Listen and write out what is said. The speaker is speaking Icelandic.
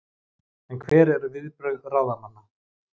En hver eru viðbrögð ráðamanna?